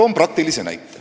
Toon praktilise näite.